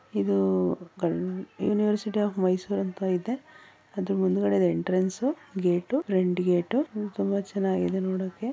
ಇದು University of Mysore ಅಂತ ಇದೆ ಅದ್ರು ಮುಂದ್ಗಡೆದ್ ಎಂಟರೆನ್ಸ್ ಗೇಟ್ ಫ್ರಂಟ್ ಗೇಟ್ ತುಂಬ ಚೆನ್ನಾಗಿದೆ ನೋಡಕ್ಕೆ .